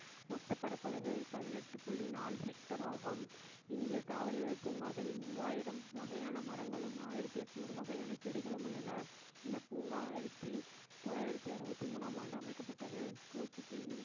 மொத்த பரப்பளவு பதினெட்டு புள்ளி நாலு hectare ஆகும் இந்தியத் தாவரவியல் பூங்காவில் மூவாயிரம் வகையான மரங்களும் ஆயிரத்து எண்ணூறு வகையான செடிகளும் உள்ளன இந்தப் பூங்கா ஆயிரத்தி தொள்ளாயிரத்தி அறுபத்தி மூணாம் ஆண்டு அமைக்கப்பட்டது பூச்சி தின்னும்